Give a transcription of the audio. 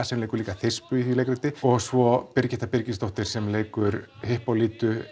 sem leikur líka Þispu í því leikriti og svo Birgitta Birgisdóttir sem leikur